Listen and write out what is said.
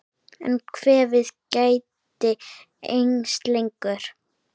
En kvefið gæti enst lengur.